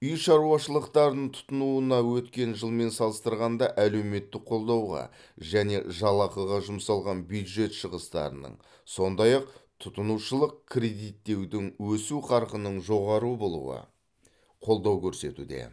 үй шаруашылықтарын тұтынуына өткен жылмен салыстырғанда әлеуметтік қолдауға және жалақыға жұмсалған бюджет шығыстарының сондай ақ тұтынушылық кредиттеудің өсу қарқынының жоғары болуы қолдау көрсетуде